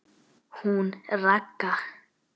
Hún Ragga?